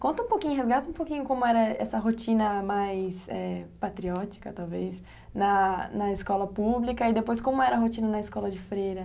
Conta um pouquinho, resgata um pouquinho como era essa rotina mais, é, patriótica, talvez, na escola pública e depois como era a rotina na escola de freira.